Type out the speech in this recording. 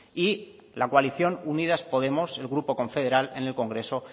y la coalición unidas podemos el grupo confederal en el congreso